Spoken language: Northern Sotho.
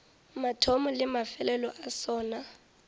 mathomo le mafelelo a sona